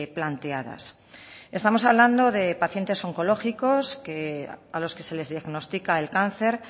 planteadas estamos hablando de pacientes oncológicos a los que se les diagnostica el cáncer